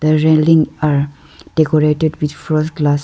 railing are decorated with first glass.